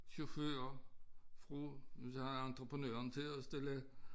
Chauffører fra nødt til at have entreprenøren til at stille